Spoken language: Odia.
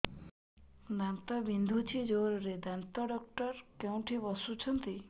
ଦାନ୍ତ ବିନ୍ଧୁଛି ଜୋରରେ ଦାନ୍ତ ଡକ୍ଟର କୋଉଠି ବସୁଛନ୍ତି